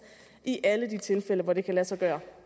i alle de tilfælde hvor det kan lade sig gøre